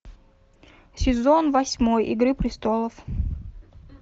сезон восьмой игры престолов